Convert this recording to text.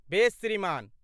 बेस श्रीमान।